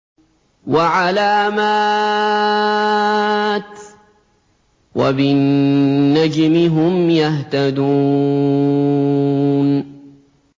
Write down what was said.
وَعَلَامَاتٍ ۚ وَبِالنَّجْمِ هُمْ يَهْتَدُونَ